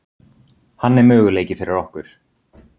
Hann er möguleiki fyrir okkur.